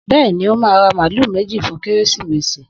Bẹ́ẹ̀ni, ó máa ra màálù méjì fún Kérésìmesì